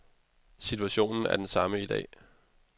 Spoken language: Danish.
Situationen er den samme i dag.